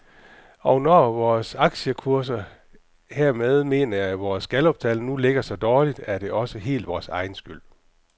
Og når vores aktiekurser, hermed mener jeg vores galluptal, nu ligger så dårligt, er det også helt vores egen skyld.